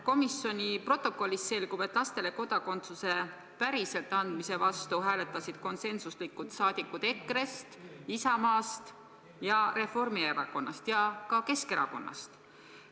Komisjoni protokollist selgub, et lastele kodakondsuse päriselt andmise vastu hääletasid konsensuslikult saadikud EKRE-st, Isamaast, Reformierakonnast ja ka Keskerakonnast.